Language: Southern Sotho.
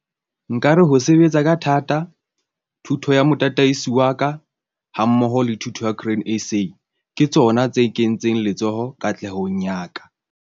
Nka re ho sebetsa ka thata, thuso ya motataisi wa ka hammoho le thuto ya Grain SA ke tsona tse kentseng letsoho katlehong ya ka.